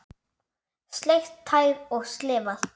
Sleikt tær og slefað.